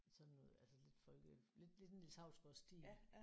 Sådan noget altså lidt folke lidt lidt sådan Niels Hausgaard stil